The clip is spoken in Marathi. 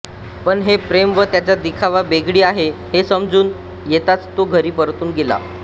पण हे प्रेम व त्याचा दिखावा बेगडी आहे हे उमजून येताच तो घरी परतून येतो